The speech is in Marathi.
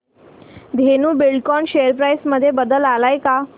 धेनु बिल्डकॉन शेअर प्राइस मध्ये बदल आलाय का